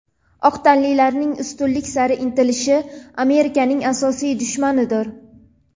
oq tanlilarning ustunlik sari intilishi Amerikaning asosiy dushmanidir.